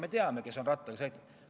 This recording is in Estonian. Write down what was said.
Need teavad, kes on rattaga sõitnud.